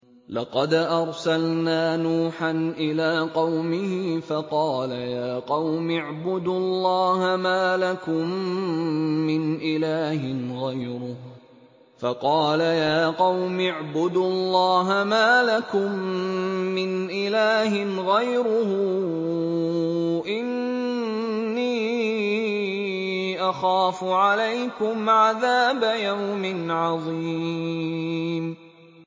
لَقَدْ أَرْسَلْنَا نُوحًا إِلَىٰ قَوْمِهِ فَقَالَ يَا قَوْمِ اعْبُدُوا اللَّهَ مَا لَكُم مِّنْ إِلَٰهٍ غَيْرُهُ إِنِّي أَخَافُ عَلَيْكُمْ عَذَابَ يَوْمٍ عَظِيمٍ